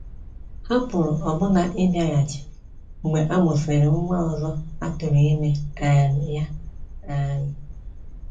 Ha pụrụ ọbụna ịbịaghachi mgbe a mụsịrị nwa ọzọ a tụ̀ụrụ̀ ime um ya. um